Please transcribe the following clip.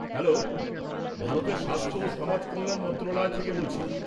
Hello, ভারতের স্বাস্থ্য ও সমাজকল্যাণ মন্ত্রণালয় থেকে বলছি।